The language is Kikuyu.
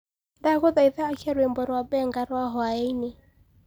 ndagũthaĩtha akĩa rwĩmbo rwa Benga rwa hwaĩnĩ